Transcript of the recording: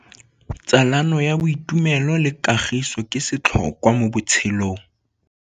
Tsalano ya boitumelo le kagiso ke setlhôkwa mo botshelong.